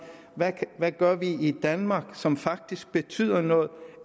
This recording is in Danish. hvad vi gør i danmark som faktisk betyder noget